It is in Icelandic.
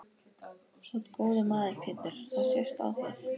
Þú ert góður maður Pétur það sést á þér.